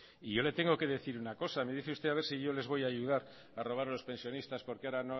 y yo le tengo que decir una cosa me dice usted si yo les voy a ayudar a robar a los pensionista porque ahora